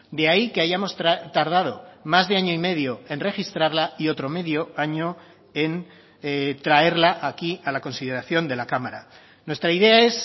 de ahí que hayamos tardado más de año y medio en registrarla y otro medio año en traerla aquí a la consideración de la cámara nuestra idea es